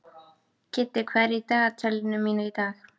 Kiddi, hvað er í dagatalinu mínu í dag?